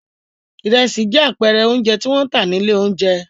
Ìrẹsì jẹ́ àpẹẹrẹ oúnjẹ tí wọ́n ń tà ní ilé-oúnjẹ.